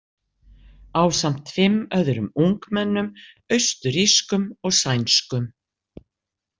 Ásamt fimm öðrum ungmennum, austurrískum og sænskum.